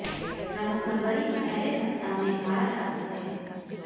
Trump फरवरी के पहले सप्ताह में भारत आ सकते हैं